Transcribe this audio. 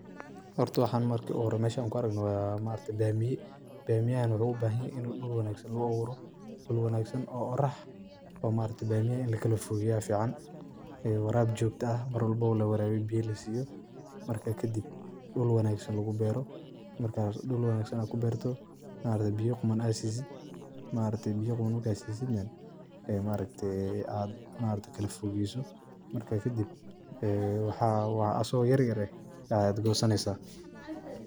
Hoorta waxan meshan ku aragno waxaye daamiya, daamiyahan oo lagu bahanyahoo ini dul wangsan lagu abuuroh, dul wangsan oo urax oo maaragtay daamiyaha ini lagala fogeeyoh Aya fican, ee warab jotaa eeh mar walba dubo lawarabiyoh lassiyoh marka kadib dulka wangsan lagu beeroh markas dul wangsan AA kubeertoh, AA beeya quman sesit maaragtay beeya markat seset ee maaragtay aat kalafofogeeysoh, marka kadib ee waxa asoo yaryar Aya kosaneysah.